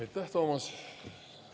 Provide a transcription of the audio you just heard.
Aitäh, Toomas!